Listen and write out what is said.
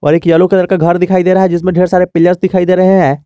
और एक yellow colour का घर दिखाई दे रहा है जिसमें ढेर सारे पिलर्स दिखाई दे रहे हैं।